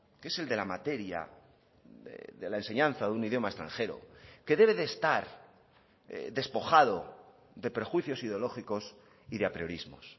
que es el de la materia de la enseñanza de un idioma extranjero que debe de estar despojado de perjuicios ideológicos y de apriorismos